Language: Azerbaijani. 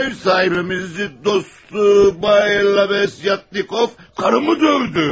Ev sahibimizin dostu Bay Lavyatnikov karımı dövdü.